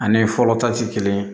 Ani fɔlɔ ta ti kelen ye